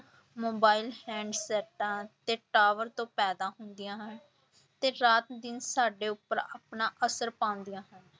Mobile ਤੇ tower ਤੋਂ ਪੈਦਾ ਹੁੰਦੀਆਂ ਹਨ ਤੇ ਰਾਤ ਦਿਨ ਸਾਡੇ ਉੱਪਰ ਆਪਣਾ ਅਸਰ ਪਾਉਂਦੀਆਂ ਹਨ।